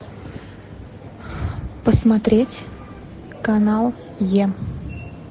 посмотреть канал е